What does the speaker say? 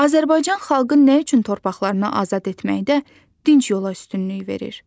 Azərbaycan xalqı nə üçün torpaqlarını azad etməkdə dinc yola üstünlük verir?